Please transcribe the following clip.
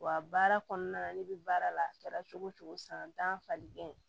Wa baara kɔnɔna na ne bɛ baara la a kɛra cogo o cogo san tan falenkɛ